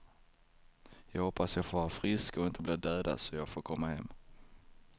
Jag hoppas jag får vara frisk och inte blir dödad så jag får komma hem.